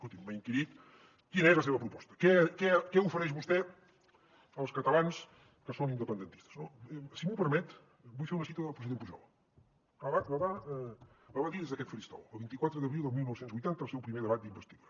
escolti’m m’ha inquirit quina és la seva proposta què ofereix vostè als catalans que són independentistes no si m’ho permet vull fer una cita del president pujol que la va dir des d’aquest faristol el vint quatre d’abril del dinou vuitanta al seu primer debat d’investidura